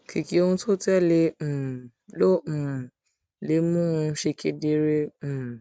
kìkì ohun tó tẹ lé e um ló um lè mú un ṣe kedere um